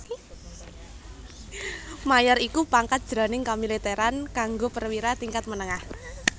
Mayor iku pangkat jroning kamilitèran kanggo perwira tingkat menengah